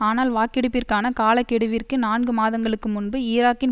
ஆனால் வாக்கெடுப்பிற்கான காலக்கெடுவிற்கு நான்கு மாதங்களுக்கு முன்பு ஈராக்கின்